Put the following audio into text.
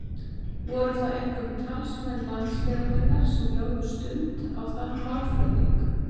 Voru það einkum talsmenn landsbyggðarinnar sem lögðu stund á þann málflutning.